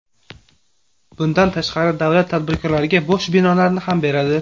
Bundan tashqari, davlat tadbirkorlarga bo‘sh binolarni ham beradi.